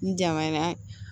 N janŋa na